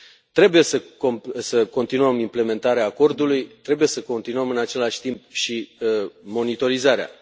Trebuie să continuăm implementarea Acordului, trebuie să continuăm în același timp și monitorizarea.